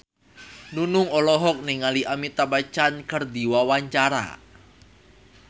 Nunung olohok ningali Amitabh Bachchan keur diwawancara